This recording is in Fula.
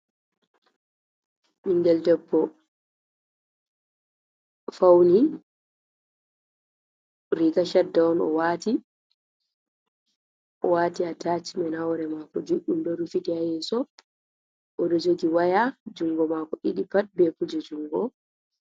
Ɓinngel debbo fawni, riga cadda on, o waati a tacimen, haa hoore maako juuɗɗum, ɗo rufiti haa yeeso, o ɗo jogi waya junngo maako ɗiɗi pat, be kuje junngo.